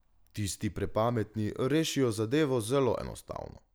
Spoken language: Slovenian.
Tisti prepametni rešijo zadevo zelo enostavno.